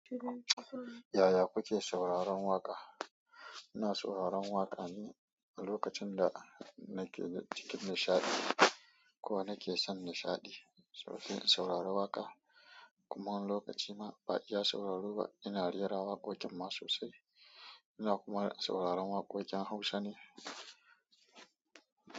Yaya kuke sauraron waƙa? Ina sauraron waƙa ne a lokacin da nake cikin nishaɗi ko nake son nishaɗi. Sauro, sauraro waƙa kuma wani lokaci ma ba iya sauraro ba. Ina rera waƙoƙin ma sosai. Ina kuma sauraron waƙoƙin Hausa ne.